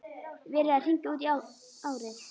Verið að hringja út árið.